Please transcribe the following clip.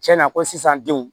Tiɲɛna ko sisan denw